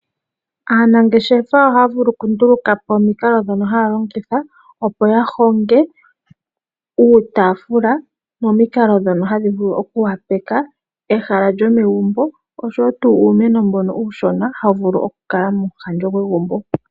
Aanangeshefa ohaya vulu kunduluka po omikalo ndhono haya longitha opo ya honge uutaafula momikalo ndhono hadhi vulu okwoopaleka ehala lyomegumbo oshowo tuu uumeno mbono uushona hawu vulu okukala momuhandjo gwegumbo.